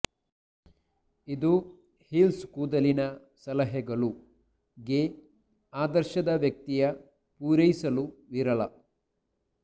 ಇದು ಹೀಲ್ಸ್ ಕೂದಲಿನ ಸಲಹೆಗಳು ಗೆ ಆದರ್ಶದ ವ್ಯಕ್ತಿಯ ಪೂರೈಸಲು ವಿರಳ